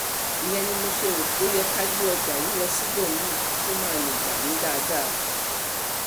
ìyẹn ni mo ṣe rò pé ó yẹ ká gbé ọjà yìí lọ síbòmí-n tó máa lè gbà yín dáadáa